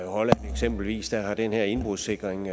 holland eksempelvis har den her indbrudssikring